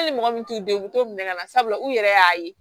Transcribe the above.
Hali mɔgɔ min t'u den u bɛ t'o minɛ ka na sabula u yɛrɛ y'a ye